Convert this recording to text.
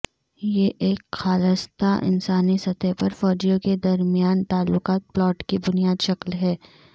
یہ ایک خالصتا انسانی سطح پر فوجیوں کے درمیان تعلقات پلاٹ کی بنیاد شکل ہے